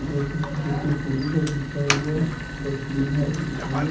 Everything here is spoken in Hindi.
ये किसी गुटके पूजे का खीचा हुआ तस्वीर है इसमें--